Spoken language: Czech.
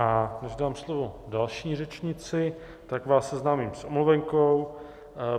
A než dám slovo další řečnici, tak vás seznámím s omluvenkou.